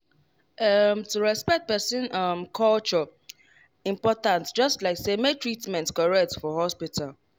ehm to respect person um culture important just like say make treatment correct for hospital.